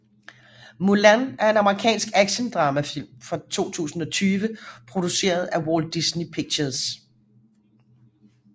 Mulan er en amerikansk actiondramafilm fra 2020 produceret af Walt Disney Pictures